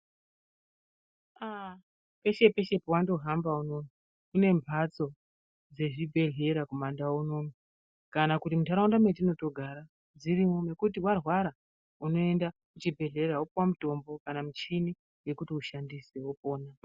Aah peshe peshe pawanohamba kune mhatso dzezvibhedhlera kumandau unono kana kuti muntharaunda mwetinotogara dzirimwo nekuti warwara unoenda kuchibhedhlera wopuwa mutombo kana muchini yekuti ushandise wopona.